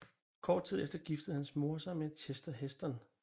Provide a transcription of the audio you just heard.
Kort tid efter giftede hans mor sig med Chester Heston